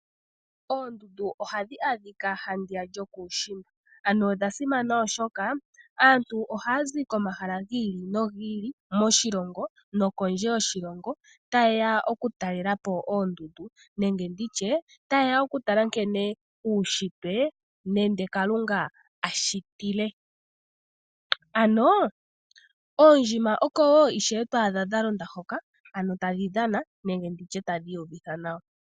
Oondundu ohadhi adhika handiya lyokuushimba ano odha simana oshoka aantu oha yazi komahala gi ili nogi ili moshilongo nokondje yoshilongo taye ya okutalelapo oondundu nenge nditye taye ya okutala nkene uushitwe nenge Kalunga ashitile ano oondjima oko woo to adha dha londa hoka ano tadhi dhana nenge nditye tadhi iyuvitha nawa.